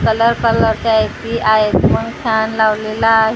Colour कलरचे AC आहेत म्हणून फॅन लावलेला आहे .